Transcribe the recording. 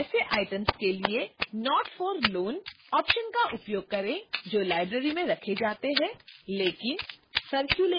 ऐसे items के लिए not for loan option का उपयोग करें जो library में रखे जाते हैं लेकिन circulated नहीं होते हैं